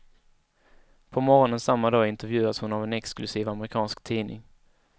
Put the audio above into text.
På morgonen samma dag intervjuas hon av en exklusiv amerikansk tidning.